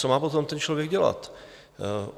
Co má potom ten člověk dělat?